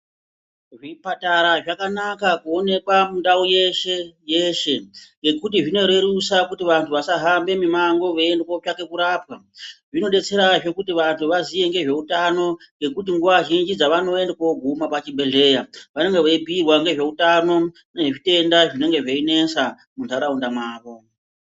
Zvipatara zvakanaka kuoneke mundau yeshe yeshe ngekuti zvinorerusa kuti vantu vasahambe mimango veiyende kutsvake kurapwa zvinodetserahe kuti vantu vazive ngezveutano ngekuti nguwa zhinji dzavanoende koguma pchibhedhleya vanenge veibhuyirwa ngezve utano nezvitenda zvinenge zveinesa muntaraunda mwavo.